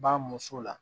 Ba muso la